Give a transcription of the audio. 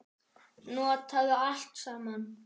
Notaðu allt saman.